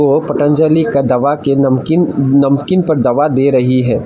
ओ पतंजलि दवा का नमकीन नमकीन पर दवा दे रही है।